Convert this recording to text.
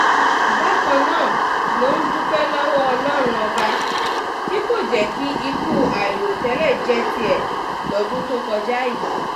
bákan náà ló ń dúpẹ́ lọ́wọ́ ọlọ́run ọba tí kò jẹ́ kí ikú àìròtẹ́lẹ̀ jẹ́ tiẹ̀ lọ́dún tó kọjá yìí